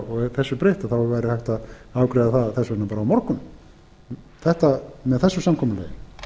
og þessu breytt þá væri hægt að afgreiða það þess vegna á morgun með þessu samkomulagi